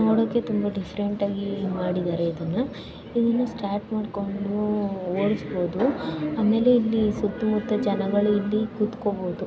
ನೋಡಕೆ ತುಂಬಾ ಡಿಫರೆಂಟ್ ಆಗಿ ಮಾಡಿದರೆ ಇದನ್ನಾ ಈ ಇನ್ನು ಸ್ಟಾರ್ಟ್ ಮಾಡಕೊಂಡು ಓಡಿಸಬಾಹುದು ಆಮೇಲೆ ಇಲ್ಲಿ ಸುತ್ತ ಮುತ್ತ ಜನಗಳು ಇಲ್ಲಿ ಕುತಕೋಬಹುದು.